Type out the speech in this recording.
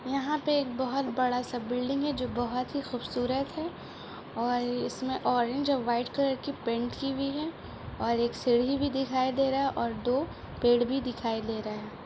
यहां पे एक बहोत बड़ा-सा बिल्डिंग है जो बहुत ही खूबसूरत है और इसमे ऑरेंज और वाईट कलर पैंट की हुई है और एक सीढ़ी भी दिखाय दे रहा है और दो पेड़ भी दिखाई दे रहा है।